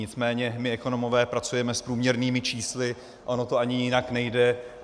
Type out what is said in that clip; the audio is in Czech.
Nicméně my ekonomové pracujeme s průměrnými čísly, ono to ani jinak nejde.